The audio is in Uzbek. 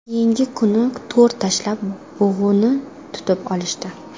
Keyingi kuni to‘r tashlab bug‘uni tutib olishdi.